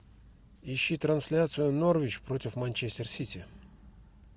ищи трансляцию норвич против манчестер сити